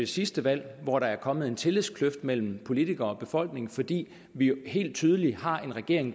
sidste valg hvor der er kommet en tillidskløft mellem politikere og befolkning fordi vi jo helt tydeligt har en regering